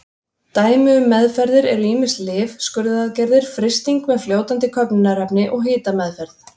Dæmi um meðferðir eru ýmis lyf, skurðaðgerðir, frysting með fljótandi köfnunarefni og hitameðferð.